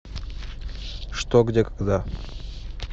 что где когда